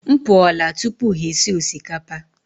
M pụọla tupu ha esi osikapa.